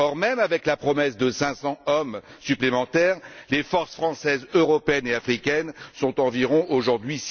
Or, même avec la promesse de 500 hommes supplémentaires, les forces française, européenne et africaine sont environ aujourd'hui